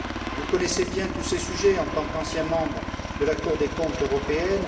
Vous connaissez bien tous ces sujets en tant qu'ancien membre de la Cour des comptes européenne.